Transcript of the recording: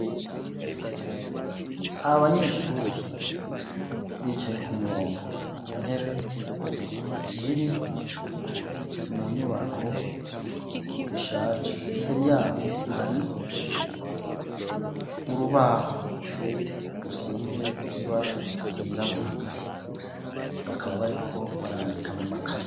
Abanyeshuri bicaye ku murongo ku ntebe ziri mu nyubako rishaje imbere yabo hari urubaho rusize ibara ryirabura bakaba bariko barandika mu makaye.